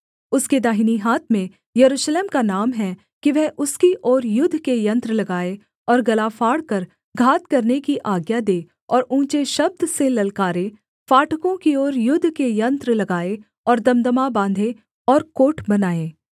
उसके दाहिनी हाथ में यरूशलेम का नाम है कि वह उसकी ओर युद्ध के यन्त्र लगाए और गला फाड़कर घात करने की आज्ञा दे और ऊँचे शब्द से ललकारे फाटकों की ओर युद्ध के यन्त्र लगाए और दमदमा बाँधे और कोट बनाए